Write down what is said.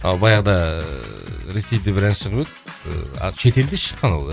а баяғыда ыыы ресейде бір ән шығып еді ыыы а шет елде шыққан ол ән